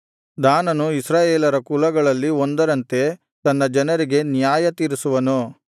ದಾನನು ಇಸ್ರಾಯೇಲರ ಕುಲಗಳಲ್ಲಿ ಒಂದರಂತೆ ತನ್ನ ಜನರಿಗೆ ನ್ಯಾಯತೀರಿಸುವನು